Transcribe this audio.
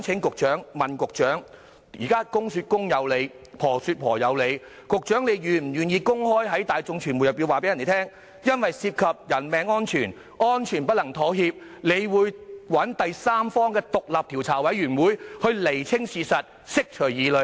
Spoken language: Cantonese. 我想問，在現時"公說公有理，婆說婆有理"的情況下，局長是否願意公開告訴大眾和傳媒，由於涉及人命安全，安全不能妥協，局方會找第三方成立獨立調查委員會，以釐清事實，釋除疑慮？